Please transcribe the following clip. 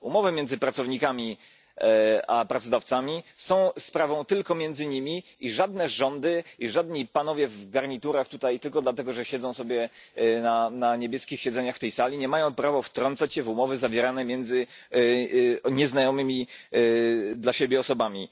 Umowy między pracownikami a pracodawcami są sprawą tylko między nimi i żadne rządy, żadni panowie w garniturach, tylko dlatego że siedzą sobie na niebieskich siedzeniach w tej sali, nie mają prawa wtrącać się w umowy zawierane między nieznanymi sobie osobami.